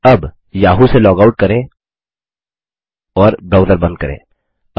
अब याहू से log out करें और ब्राउजर बंद करें